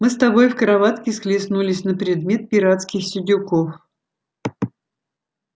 мы с тобой в кроватке схлестнулись на предмет пиратских сидюков